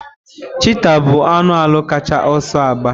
Chịtáh bụ anụ ala kacha ọsọ agba.